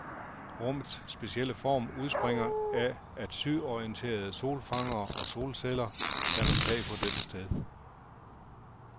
Rummets specielle form udspringer af, at sydorienterede solfangere og solceller danner tag på dette sted.